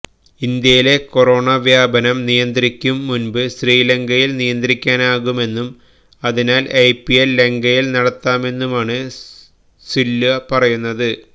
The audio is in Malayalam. ഇന്ത്യയിലെ കൊറോണ വ്യാപനം നിയന്ത്രിക്കും മുന്പ് ശ്രീലങ്കയില് നിയന്ത്രിക്കാനാകുമെന്നും അതിനാല് ഐപിഎല് ലങ്കയില് നടത്താമെന്നുമാണ് സില്വ പറയുന്നത്